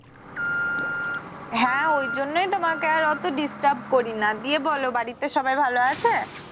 হ্যা ওইজন্যই তোমাকে আর ওতো disturb করি না গিয়ে বলো বাড়িতে সবাই ভালো আছে?